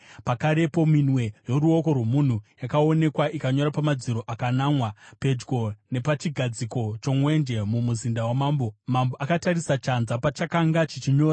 Pakarepo minwe yoruoko rwomunhu yakaonekwa ikanyora pamadziro akanamwa, pedyo napachigadziko chomwenje mumuzinda wamambo. Mambo akatarisa chanza pachakanga chichinyora.